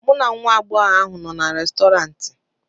mụ na nwa agbọghọ ahụ nọ na Restọrantị